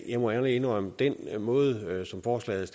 jeg må ærligt indrømme at den måde forslaget